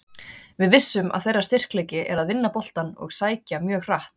Við vissum að þeirra styrkleiki er að vinna boltann og sækja mjög hratt.